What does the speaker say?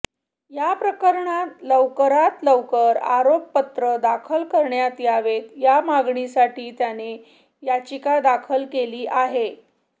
या प्रकरणात लवकरात लवकर आरोपपत्र दाखल करण्यात यावेत या मागणीसाठी त्याने याचिका दाखल केली आहे